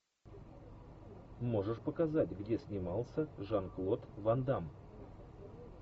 можешь показать где снимался жан клод ван дамм